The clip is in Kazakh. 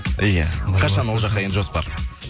иә қашан ол жаққа енді жоспар